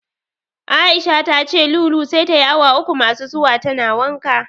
Aisha tace Lulu sai tayi awa uku masu zuwa tana wanka.